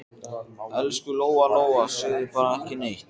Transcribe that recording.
Elsku Lóa-Lóa, segðu bara ekki neitt.